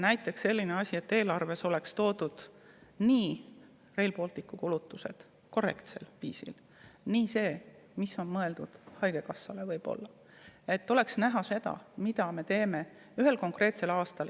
Näiteks selline asi, et eelarves oleks toodud nii Rail Balticu kulutused korrektsel viisil kui ka see, mis on mõeldud haigekassale, et oleks näha, mida me teeme ühel konkreetsel aastal.